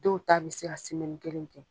Dɔw ta be se ka semɛni kelen kɛ